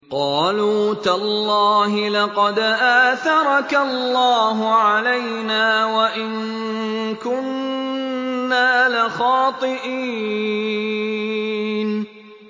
قَالُوا تَاللَّهِ لَقَدْ آثَرَكَ اللَّهُ عَلَيْنَا وَإِن كُنَّا لَخَاطِئِينَ